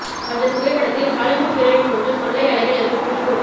அந்த புகைப்படத்தில் Hollywood heroine போன்று கொள்ளை அழகில் இருக்கும் குஷ்புவை